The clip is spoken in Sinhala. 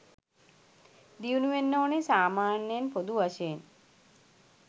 දියුණු වෙන්න ඕනෙ සාමාන්‍යයෙන් පොදු වශයෙන්.